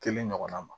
Kelen ɲɔgɔnna ma